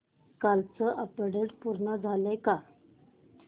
कालचं अपडेट पूर्ण झालंय का